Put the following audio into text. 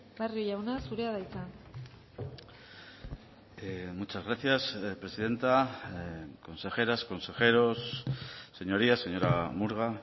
barrio jauna zurea da hitza muchas gracias presidenta consejeras consejeros señorías señora murga